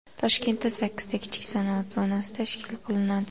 Toshkentda sakkizta kichik sanoat zonasi tashkil qilinadi.